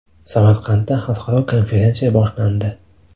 Samarqandda xalqaro konferensiya boshlandi.